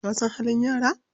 Ka san halin yara?